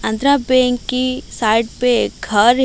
आंध्रा बैंक की साइड पे घर--